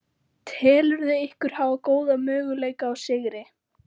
Telurðu ykkur hafa góða möguleika á sigri?